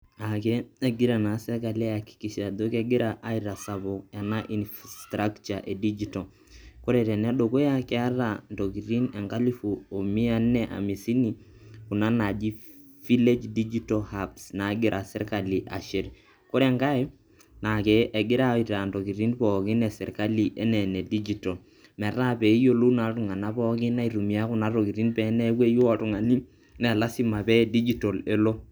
Aake egira naa sirkali aihakikisha ajo, kegira aitasapuk ena infrastructure e dijital. Kore tenedukuya, keeta intokitin enkalifu o mia nne hamisini, kuna naaji village digital hub naagira sirkali ashet. kore enkai, naake egira aitaa intoki pookin e sirkali anaa inedijital metaa peyiolou naa iltung'anak pookin aitumia kuna tokitin pee eneyeu oltung'ani naa lazima pee dijital elo.